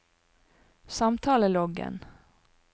samtaleloggen